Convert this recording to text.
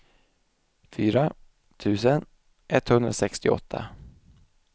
fyra tusen etthundrasextioåtta